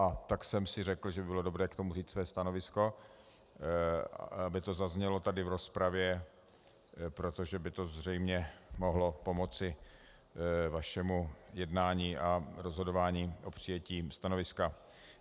A tak jsem si řekl, že by bylo dobré k tomu říci své stanovisko, aby to zaznělo tady v rozpravě, protože by to zřejmě mohlo pomoci vašemu jednání a rozhodování o přijetí stanoviska.